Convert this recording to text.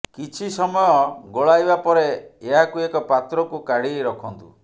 କିଛି ସମୟ ଗୋଳାଇବା ପରେ ଏହାକୁ ଏକ ପାତ୍ରକୁ କାଢି ରଖନ୍ତୁ